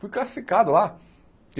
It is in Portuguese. Fui classificado lá.